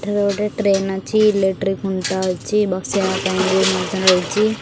ଏଠାରେ ଗୋଟେ ଟ୍ରେନ ଅଛି ଇଲେକ୍ଟ୍ରିକ୍ ଖୁଣ୍ଟ ଅଛି ବସିବା ପାଇଁ ବି ବନ୍ଧା ହେଉଚି।